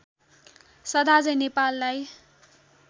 सदा झैं नेपाललाई